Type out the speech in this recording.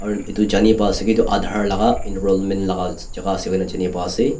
edu Jani paase ki edu aadhar laka enrollment lakajaka ase koina janipai ase.